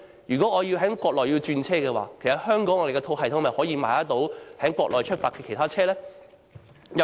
如果我要在國內轉車，可否在香港的系統購買由國內出發的其他車程呢？